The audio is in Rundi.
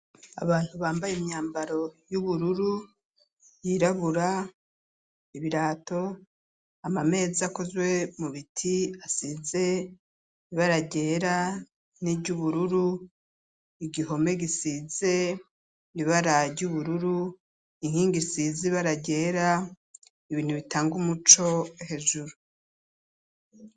Abantu bambaye imyambaro y'ubururu yirabura ibirato amamezi akozwe mu biti asize ibara ryera n'iry'ubururu igihome gisize ibara ry'ubururu inkingi isize bara ryera ibintu bitanga umuco hejuru.